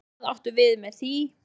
Hvað áttu við með því?